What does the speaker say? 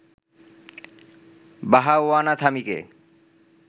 বাহাওয়ানা থামিকে